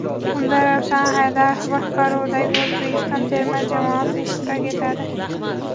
Unda Ravshan Haydarov boshqaruvidagi O‘zbekiston terma jamoasi ishtirok etadi.